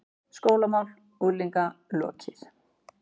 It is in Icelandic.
SKÓLAMÁL UNGLINGA LOKIÐ